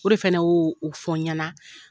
O de fɛnɛ o o fɔ ɲana.